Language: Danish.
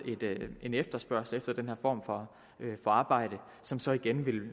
en efterspørgsel efter den her form for arbejde som så igen vil